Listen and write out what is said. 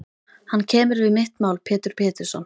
Hann kemur við mitt mál Pétur Pétursson.